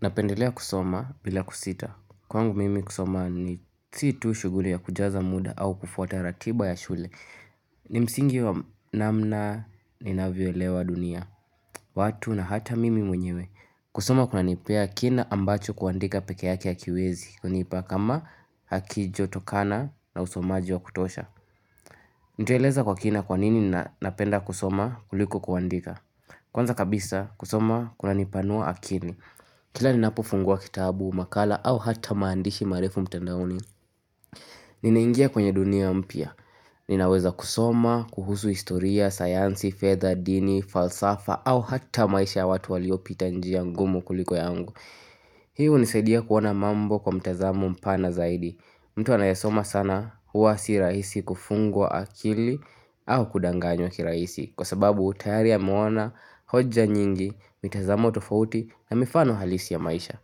Napendelea kusoma bila kusita. Kwangu mimi kusoma ni si tu shuguli ya kujaza muda au kufuata ratiba ya shule. Ni msingi wa namna ni navyoelewa dunia. Watu na hata mimi mwenyewe. Kusoma kunanipea kina ambacho kuandika pekee yake hakiwezi. Kunipa kama hakijatokana na usomaji wa kutosha. Nitaeleza kwa kina kwa nini na napenda kusoma kuliko kuandika. Kwanza kabisa kusoma kunanipanua akili. Kila ninapofungua kitabu, makala au hata maandishi marefu mtandaoni Ninaingia kwenye dunia mpia Ninaweza kusoma, kuhusu historia, sayansi, fedha, dini, falsafa au hata maisha ya watu waliopita njia ngumu kuliko yangu Hii hunisaidia kuona mambo kwa mtazamo mpana zaidi mtu anayesoma sana huwa si rahisi kufungwa akili au kudanganywa kirahisi Kwa sababu tayari ameona, hoja nyingi, mitazamo tofauti na mifano halisi ya maisha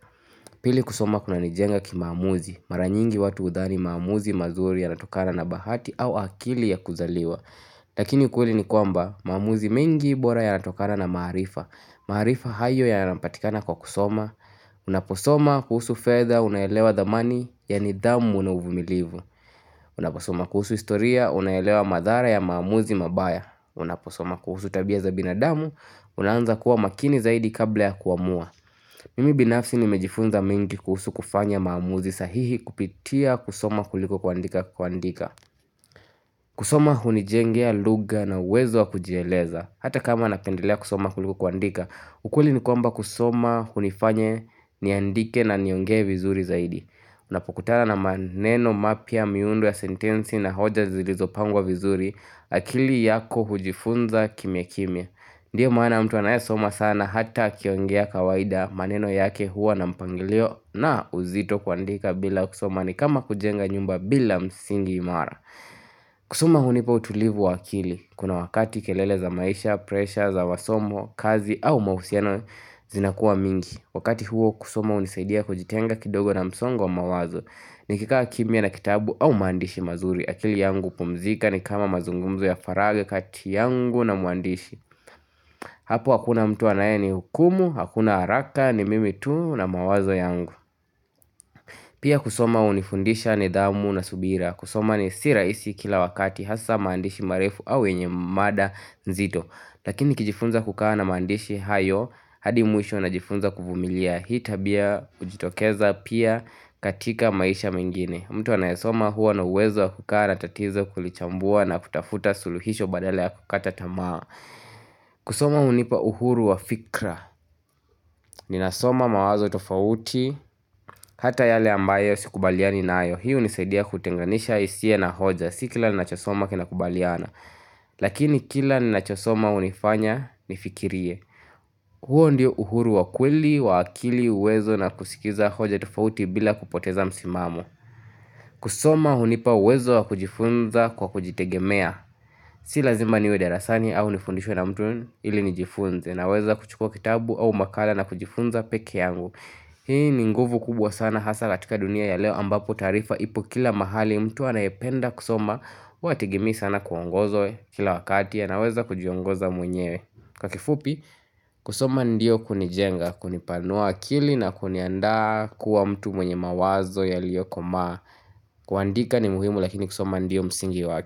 Pili kusoma kunanijenga ki maamuzi Mara nyingi watu hudhani maamuzi mazuri yanatokana na bahati au akili ya kuzaliwa Lakini kweli ni kwamba maamuzi mengi bora ya natokana na maharifa Maharifa hayo yanapatikana kwa kusoma Unaposoma kuhusu fedha unaelewa dhamani ya nidhamu na uvumilivu Unaposoma kuhusu historia unaelewa madhara ya maamuzi mabaya Unaposoma kuhusu tabia za binadamu, unaanza kuwa makini zaidi kabla ya kuamua Mimi binafsi nimejifunza mengi kuhusu kufanya maamuzi sahihi kupitia kusoma kuliko kuandika kuandika kusoma hunijengea lugha na uwezo wa kujieleza Hata kama napendelea kusoma kuliko kuandika ukweli ni kwamba kusoma hunifanya niandike na niongee vizuri zaidi Unapokutana na maneno mapya miundo ya sentensi na hoja zilizopangwa vizuri akili yako hujifunza kimya kimya Ndio maana mtu anayesoma sana hata akiongea kawaida maneno yake huwa na mpangilio na uzito kuandika bila kusoma ni kama kujenga nyumba bila msingi imara kusoma hunipa utulivu wa akili Kuna wakati kelele za maisha, presha, za masomo, kazi au mauhusiano zinakuwa mingi Wakati huo kusoma hunisaidia kujitenga kidogo na msongo mawazo Nikikawa kimya na kitabu au maandishi mazuri akili yangu hupumzika ni kama mazungumzo ya faragha kati yangu na mwandishi Hapo hakuna mtu anaye ni hukumu, hakuna haraka ni mimi tu na mawazo yangu Pia kusoma hunifundisha nidhamu na subira kusoma ni si rahisi kila wakati hasa maandishi marefu au yenye mada nzito Lakini ni kijifunza kukaa na maandishi hayo hadi mwisho na jifunza kuvumilia Hii tabia hujitokeza pia katika maisha mengine mtu anayesoma huwa na uwezo wa kukaa na tatizo kulichambua na kutafuta suluhisho badala ya kukata tamaa kusoma hunipa uhuru wa fikra Ninasoma mawazo tofauti Hata yale ambayo sikubaliani naayo Hii hunisaidia kutenganisha hisia na hoja Si kila ninachosoma kinakubaliana Lakini kila ninachosoma hunifanya nifikirie huo ndio uhuru wa kweli wa akili uwezo na kusikiza hoja tofauti bila kupoteza msimamo kusoma hunipa uwezo wa kujifunza kwa kujitegemea Si lazima niwe darasani au nifundishwe na mtu ili nijifunze Naweza kuchukua kitabu au makala na kujifunza peke yangu Hii ni nguvu kubwa sana hasa katika dunia ya leo ambapo taarifa ipo kila mahali mtu anayependa kusoma huwa hategemei sana kuongozwa kila wakati anaweza kujiongoza mwenyewe Kwa kifupi kusoma ndio kunijenga kunipanua akili na kuniandaa kuwa mtu mwenye mawazo yaliyokomaa kuandika ni muhimu lakini kusoma ndio msingi waki.